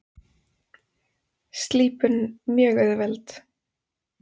Slípun mjög auðveld.